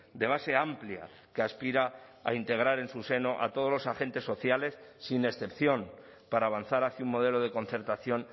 de base amplia que aspira a integrar en su seno a todos los agentes sociales sin excepción para avanzar hacia un modelo de concertación